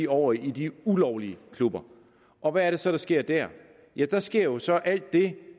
over i de ulovlige klubber og hvad er det så der sker der ja der sker jo så alt det